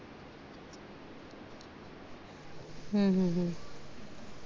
हम्म हम्म हम्म